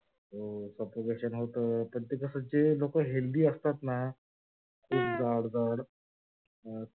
हो. suffogation होत पण ते कस असत? जे लो healthy असतात ना जाड जाड हा